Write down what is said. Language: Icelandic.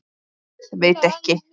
Guð, veit ekki.